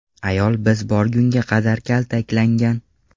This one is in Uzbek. Ayol biz borgunga qadar kaltaklangan.